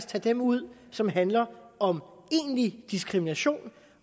tage dem ud som handler om egentlig diskrimination